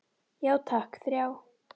Já takk, þrjá.